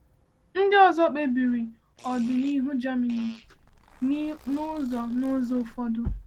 Ndị ọzọ kpebiri ọdịnihu Germany n’ụzọ n’ụzọ ụfọdụ.